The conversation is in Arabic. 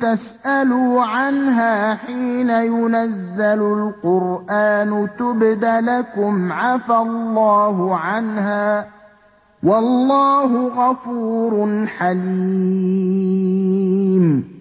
تَسْأَلُوا عَنْهَا حِينَ يُنَزَّلُ الْقُرْآنُ تُبْدَ لَكُمْ عَفَا اللَّهُ عَنْهَا ۗ وَاللَّهُ غَفُورٌ حَلِيمٌ